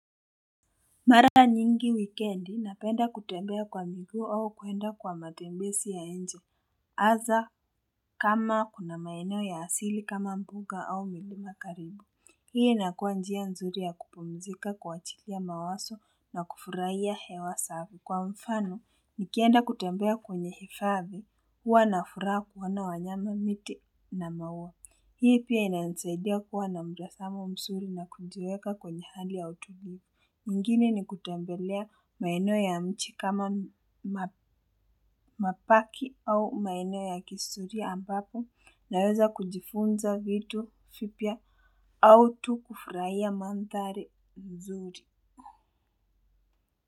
Mara nyingi wikendi napenda kutembea kwa miguu au kuenda kwa matembezi ya nje, hasa kama kuna maeneo ya asili kama mbuga au milima karibu. Hii inakuwa njia nzuri ya kupumzika, kuwachilia mawazo na kufurahia hewa safi. Kwa mfano, nikienda kutembea kwenye hifadhi, huwa na furaha kuona wanyama, miti na maua. Hii pia inanisaidia kuwa na mtazamo mzuri na kujiweka kwenye hali ya utulivu. Mwingine ni kutembelea maeneo ya nchi kama mabaki au maeneo ya kihistoria ambapo naweza kujifunza vitu vipya au tu kufurahia mandhari nzuri.